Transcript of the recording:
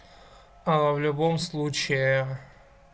в любом случае